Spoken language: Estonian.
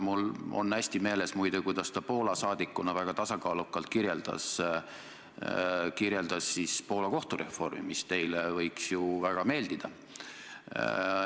Mul on muide hästi meeles, kuidas ta Poola saadikuna väga tasakaalukalt kirjeldas Poola kohtureformi, mis teile võiks ju väga meeldida.